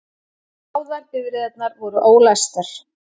Báðar bifreiðarnar voru ólæstar